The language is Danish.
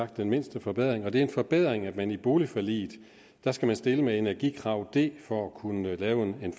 den mindste forbedring sagt det er en forbedring at man med boligforliget skal stille med energikrav d for at kunne lave en